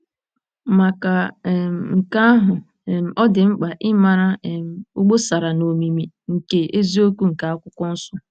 Maka um nke ahụ um, ọ dị mkpa ịmara' um obosara na omimi ' nke eziokwu nke Akwụkwọ Nsọ.